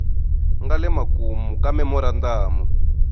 nga le makumu ka memorandamu